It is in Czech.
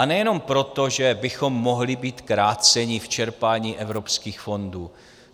A nejenom proto, že bychom mohli být kráceni v čerpání evropských fondů.